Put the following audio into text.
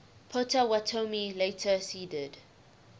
potawatomi later ceded